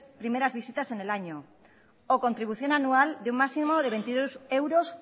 primeras visitas en el año o contribución anual de un máximo de veintidós euros